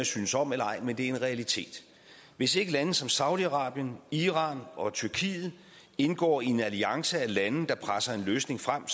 synes om eller ej men det er en realitet hvis ikke lande som saudi arabien iran og tyrkiet indgår i en alliance af lande der presser en løsning frem